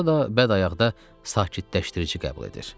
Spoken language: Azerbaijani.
Ya da bədəyaqda sakitləşdirici qəbul edir.